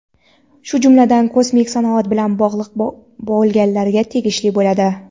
shu jumladan kosmik sanoat bilan bog‘liq bo‘lganlarga tegishli bo‘ladi.